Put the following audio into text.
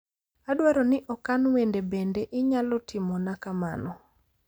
Adwaro ni okan wende bende inyalo timona kamano